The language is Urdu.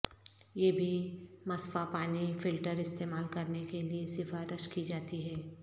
یہ بھی مصفا پانی فلٹر استعمال کرنے کے لئے سفارش کی جاتی ہے